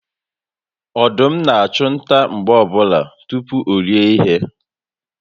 Ọdụm na achu nta mgbe ọbụla tupu orie ihe